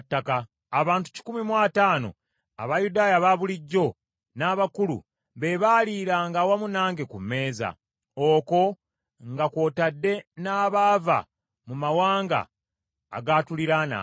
Abantu kikumi mu ataano, Abayudaaya abaabulijjo n’abakulu, be baaliranga awamu nange ku mmeeza, okwo nga kw’otadde n’abaava mu mawanga agaatuliraananga.